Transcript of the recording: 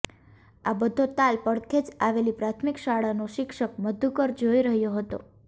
આ બધો તાલ પડખે જ આવેલી પ્રાથમિક શાળાનો શિક્ષક મધુકર જોઇ રહ્યો હતો